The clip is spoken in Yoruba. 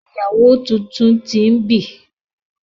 Ìyàwó títún t'in bí